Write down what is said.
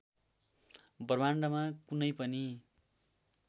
ब्रह्माण्डमा कुनै पनि